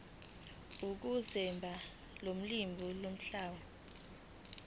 ukusebenzisa ulimi ukuhlola